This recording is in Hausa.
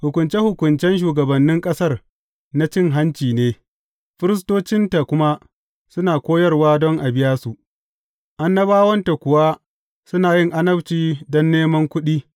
Hukunce hukuncen shugabannin ƙasar na cin hanci ne, firistocinta kuma suna koyarwa don a biya su, annabawanta kuwa suna yin annabci don neman kuɗi.